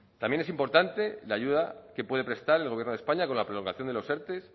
también es importante la ayuda que puede prestar el gobierno de españa con la prolongación de los erte